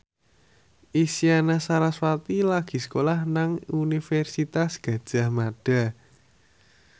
Isyana Sarasvati lagi sekolah nang Universitas Gadjah Mada